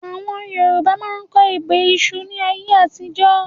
Àwọn Yorùbá máa ń kọ ebè ìṣù ni ayé àtijọ́